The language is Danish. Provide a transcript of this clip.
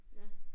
Ja